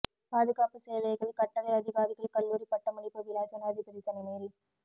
பாதுகாப்புச் சேவைகள் கட்டளை அதிகாரிகள் கல்லூரி பட்டமளிப்பு விழா ஜனாதிபதி தலைமையில்